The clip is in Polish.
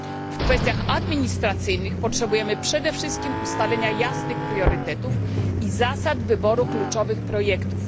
W kwestiach administracyjnych potrzebujemy przede wszystkim ustalenia jasnych priorytetów i zasad wyboru kluczowych projektów.